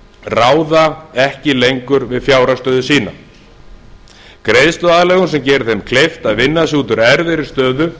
óviðráðanlegum orsökum ráða ekki lengur við fjárhagsstöðu sína greiðsluaðlögun sem gerir þeim kleift að vinna sig út úr erfiðri stöðu